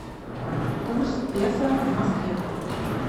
курс песо в москве